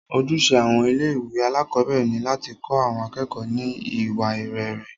Ojúṣe àwọn ilé ìwé alákọ̀berẹ̀ ni láti kọ́ àwọn akẹ́kọ̀ọ́ ní iwa rere.